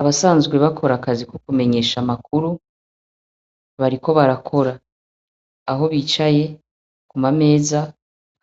Abasanzwe bakora akazi ko kumenyesha amakuru, bariko barakora. Aho bicaye, kumameza